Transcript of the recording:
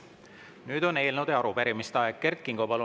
Nüüd on eelnõude ja arupärimiste aeg.